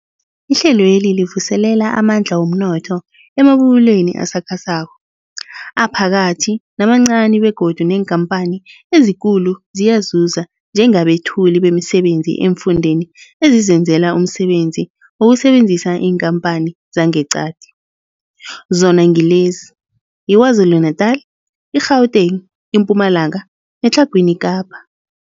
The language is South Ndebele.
Ihlelweli livuselela amandla womnotho emabubulweni asakhasako, aphakathi namancani begodu neenkhamphani ezikulu ziyazuza njengabethuli bemisebenzi eemfundeni ezizenzela umsebenzi ngokusebenzisa iinkhamphani zangeqadi, zona ngilezi, yiKwaZulu-Natala, i-Gauteng, iMpumalanga neTlhagwini Kapa.